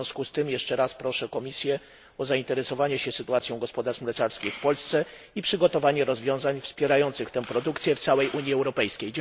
W związku z tym jeszcze raz proszę Komisję o zainteresowanie się sytuacją gospodarstw mleczarskich w Polsce i przygotowanie rozwiązań wspierających tę produkcję w całej Unii Europejskiej.